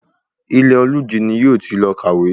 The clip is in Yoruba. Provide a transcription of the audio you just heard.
Ilẹ̀-olújí ni yóò ti lọ kàwé